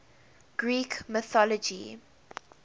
greek mythology